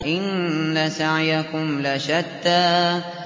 إِنَّ سَعْيَكُمْ لَشَتَّىٰ